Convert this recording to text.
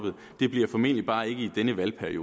vælter det